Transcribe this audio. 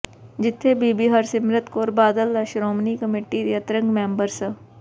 ਜਿਥੇ ਬੀਬੀ ਹਰਸਿਮਰਤ ਕੌਰ ਬਾਦਲ ਦਾ ਸ਼੍ਰੋਮਣੀ ਕਮੇਟੀ ਦੇ ਅੰਤ੍ਰਿੰਗ ਮੈਂਬਰ ਸ